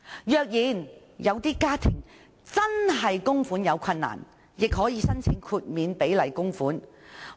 若有些家庭供款出現困難，也可以申請豁免比例供款。